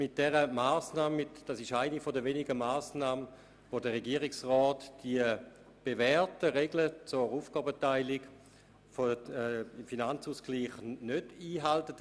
Dies ist eine der wenigen Massnahmen, bei welchen der Regierungsrat die bewährten Regeln zur Aufgabenteilung im Rahmen des Finanzausgleichs nicht einhält.